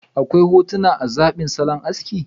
Akwai hotuna na zabin salon aski.